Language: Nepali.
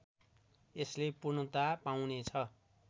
यसले पूर्णता पाउने छ